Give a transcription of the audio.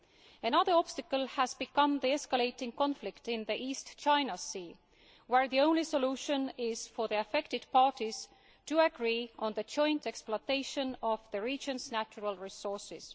Another obstacle has been the escalating conflict in the East China Sea, where the only solution is for the affected parties to agree on the joint exploitation of the region's natural resources.